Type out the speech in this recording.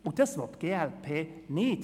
Und das will die glp nicht.